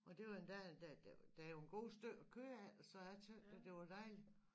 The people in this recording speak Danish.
Og det var endda der der jo en god stykke at gøre af så jeg tænkte at det var dejligt